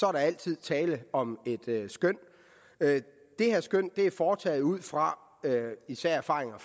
er der altid tale om et skøn det her skøn er foretaget ud fra især erfaringer